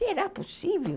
Será possível?